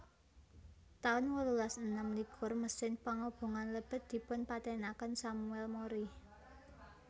taun wolulas enem likur Mesin pangobongan lebet dipun patènaken Samuel Mori